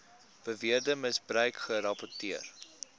beweerde misbruik gerapporteer